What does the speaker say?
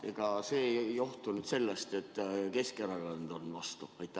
Ega see ei johtu sellest, et Keskerakond on vastu?